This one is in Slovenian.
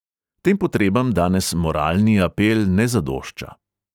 Tem potrebam danes moralni apel ne zadošča.